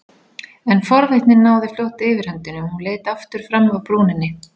En forvitnin náði fljótt yfirhöndinni og hún leit aftur fram af brúninni.